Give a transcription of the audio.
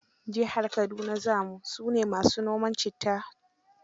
Jihar Kaduna za mu, su ne ma su noma citta.